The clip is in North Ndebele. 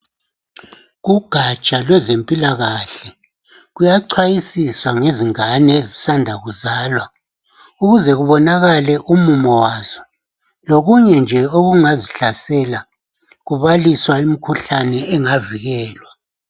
Kugatsha lwezempilakahle kuyachwayisiswa ngezingane ezisanda kuzalwa ukuze kubonakale umumo wazo lokunye nje okungazihlasela kubaliswa imikhuhlane engavikelwa.